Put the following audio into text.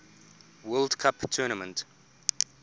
world cup tournament